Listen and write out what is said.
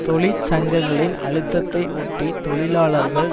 தொழிற் சங்கங்களின் அழுத்தத்தை ஒட்டி தொழிலாளர்கள்